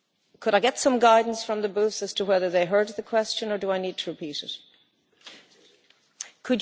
Could I get some guidance from the booths as to whether they heard the question or do I need to repeat it?